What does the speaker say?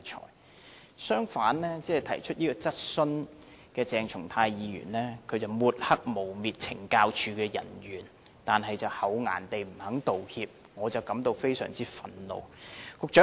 另一方面，提出這項質詢的鄭松泰議員抹黑和誣衊懲教署人員，卻厚顏地不肯道歉，我對此感到非常憤怒。